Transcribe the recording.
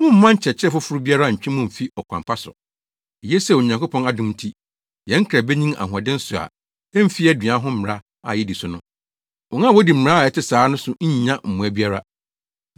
Mommma nkyerɛkyerɛ foforo biara nntwe mo mmfi ɔkwan pa so. Eye sɛ Onyankopɔn adom nti, yɛn kra benyin ahoɔden so a emfi aduan ho mmara a yedi so no. Wɔn a wodi mmara a ɛte saa so no nnya mmoa biara.